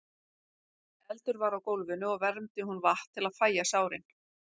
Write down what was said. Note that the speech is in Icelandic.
Eldur var á gólfinu og vermdi hún vatn til að fægja sárin.